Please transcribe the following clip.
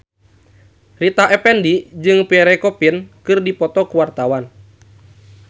Rita Effendy jeung Pierre Coffin keur dipoto ku wartawan